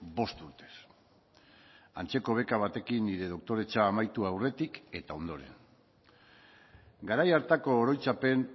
bost urtez antzeko beka batekin nire doktoretza amaitu aurretik eta ondoren garai hartako oroitzapen